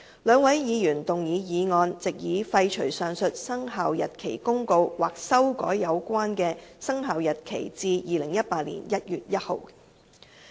兩位議員動議決議案，藉以廢除上述《生效日期公告》或修改有關的生效日期至2018年1月1日。